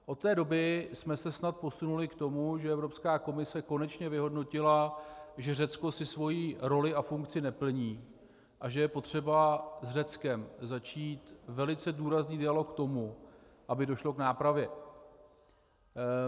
Od té doby jsme se snad posunuli k tomu, že Evropská komise konečně vyhodnotila, že Řecko si svoji roli a funkci neplní a že je potřeba s Řeckem začít velice důrazný dialog k tomu, aby došlo k nápravě.